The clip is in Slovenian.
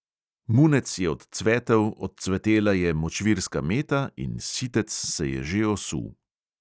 Munec je odcvetel, odcvetela je močvirska meta in sitec se je že osul.